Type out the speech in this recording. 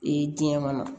Ee diɲɛ kɔnɔ